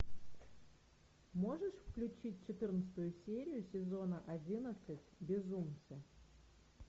можешь включить четырнадцатую серию сезона одиннадцать безумцы